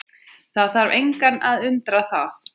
Þarf engan að undra það.